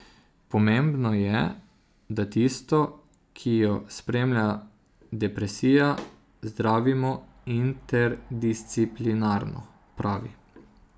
Pomembno je, da tisto, ki jo spremlja depresija, zdravimo interdisciplinarno, pravi.